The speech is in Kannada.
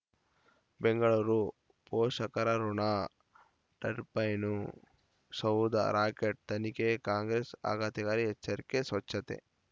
ಬೆಂಗಳೂರು ಪೋಷಕರಋಣ ಟರ್ಬೈನು ಸೌಧ ರಾಕೇಟ್ ತನಿಖೆಗೆ ಕಾಂಗ್ರೆಸ್ ಆಘಾತಕಾರಿ ಎಚ್ಚರಿಕೆ ಸ್ವಚ್ಛತೆ